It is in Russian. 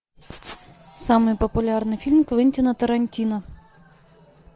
самый популярный фильм квентина тарантино